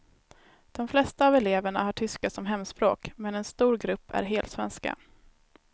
De flesta av eleverna har tyska som hemspråk, men en stor grupp är helsvenska.